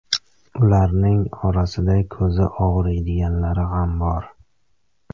Ularning orasida ko‘zi og‘riydiganlari ham bor.